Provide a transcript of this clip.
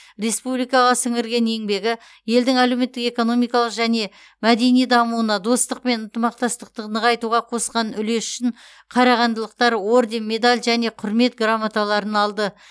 республикаға сіңірген еңбегі елдің әлеуметтік экономикалық және мәдени дамуына достық пен ынтымақтастықты нығайтуға қосқан үлесі үшін қарағандылықтар орден медаль және құрмет грамоталарын алды